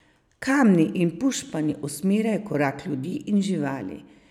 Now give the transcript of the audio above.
Kamni in pušpani usmerjajo korak ljudi in živali.